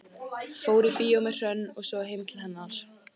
Fór í bíó með Hrönn og svo heim til hennar.